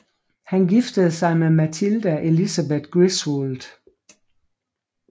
Han giftede sig med Matilda Elizabeth Griswold